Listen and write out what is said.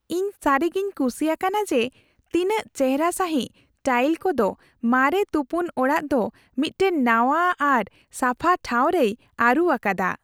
ᱤᱧ ᱥᱟᱹᱨᱤᱜᱮᱧ ᱠᱩᱥᱤ ᱟᱠᱟᱱᱟ ᱡᱮ ᱛᱤᱱᱟᱹᱜ ᱪᱮᱦᱚᱨᱟ ᱥᱟᱹᱦᱤᱡ ᱴᱟᱭᱤᱞ ᱠᱚᱫᱚ ᱢᱟᱨᱮ ᱛᱩᱯᱩᱱ ᱚᱲᱟᱜ ᱫᱚ ᱢᱤᱫᱴᱟᱝ ᱱᱟᱣᱟ ᱟᱨ ᱥᱟᱯᱷᱟ ᱴᱷᱟᱶ ᱨᱮᱭ ᱟᱹᱨᱩ ᱟᱠᱟᱫᱟ ᱾